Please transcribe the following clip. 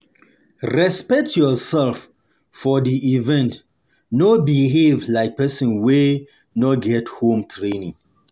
Respect yourself for di event no behave like persin wey no get home tranning